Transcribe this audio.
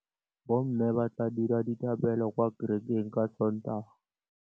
Bommê ba tla dira dithapêlô kwa kerekeng ka Sontaga.